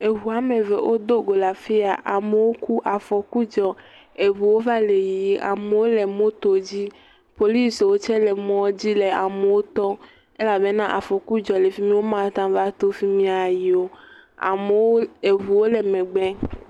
Eŋu woame eve wodo le afi ya. Amewo ku, afɔku dzɔ, eŋuwo va le yiyi, amewo le moto dzi. Policiwo tse le mɔdzi le ame wo tɔm elabena afɔku dzɔ le fimi, amewo mateŋu ato fima ava yi o. Amewo, eŋuwo le megbe.